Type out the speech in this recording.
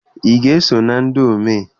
Ị ga-eso na ndị omee?